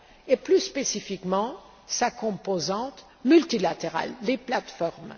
et plus spécifiquement sa composante multilatérale, les plateformes.